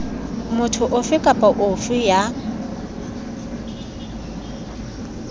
motho ofe kapa ofe ya